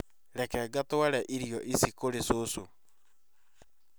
Reke ngatware irio kũrĩ cũcũ